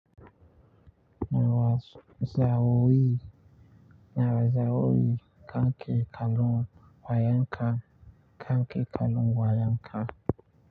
Nawa za a yi kanki kalon wayanka? Kanki kallon wayanka.